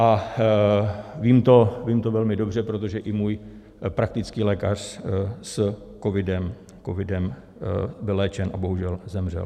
A vím to velmi dobře, protože i můj praktický lékař s covidem byl léčen a bohužel zemřel.